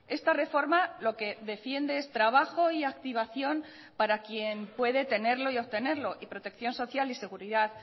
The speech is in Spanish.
esta reforma lo que defiende es trabajo y activación para quien puede tenerlo y obtenerlo y protección social y seguridad